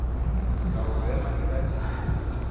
taolo ya madira a tšhireletšo